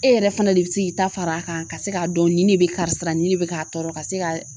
E yɛrɛ fana de bi se k'i ta far'a kan ka se k'a dɔn ni ne be karisa la nin ne be k'a tɔɔrɔ ka se ka